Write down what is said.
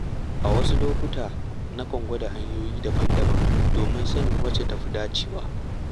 A wasu lokuta, nakan gwada hanyoyi daban-daban domin sanin wacce ta fi dacewa.